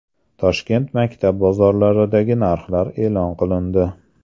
Toshkent maktab bozorlaridagi narxlar e’lon qilindi.